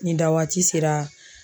Ni dawaati sera